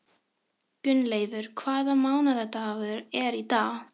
Gunnleifur, hvaða mánaðardagur er í dag?